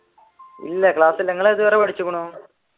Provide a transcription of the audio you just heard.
ഇല്ല ക്ലാസ്സില്ല നിങ്ങൾ ഏതുവരെ പഠിച്ചിരിക്കുന്നു?